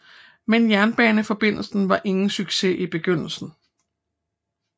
Men jernbaneforbindelsen var ingen succes i begyndelsen